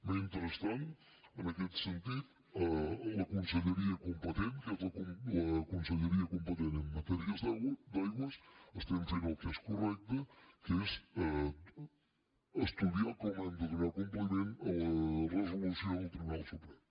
mentrestant en aquest sentit la conselleria competent que és la conselleria competent en matèries d’aigües estem fent el que és correcte que és estudiar com hem de donar compliment a la resolució del tribunal suprem